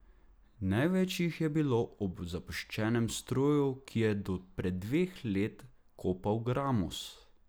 Največ jih je bilo ob zapuščenem stroju, ki je do pred dveh let kopal gramoz.